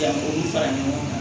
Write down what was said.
Janko fara ɲɔgɔn kan